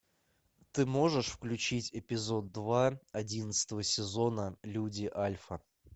ты можешь включить эпизод два одиннадцатого сезона люди альфа